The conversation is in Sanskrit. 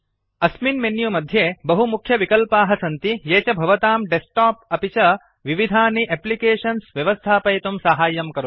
अस्मिन् मेन्यु मध्ये बहु मुख्यविकल्पाः सन्ति ये च भवतां डेस्क्टोप् अपि च विविधानि अप्लिकेशन्स् व्यवस्थापयितुं साहाय्यं करोति